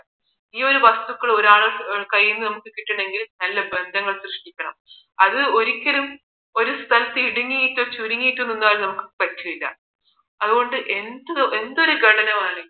ഈ ഒരു വസ്തുക്കൾ ഒരാളുടെ കയ്യില് നിന്ന് നമ്മൾക്ക് കിട്ടണമെങ്കിൽ നല്ല ബന്ധങ്ങൾ സൃഷ്ടിക്കണം അത് ഒരിക്കലും അത് ഒരു സ്ഥലത്ത് ഇടുങ്ങിയിട്ടും ചുരുങ്ങിയിട്ടും നിന്നാൽ നമുക്ക് പറ്റില്ല അത് കൊണ്ട് എന്തൊരു ഘടന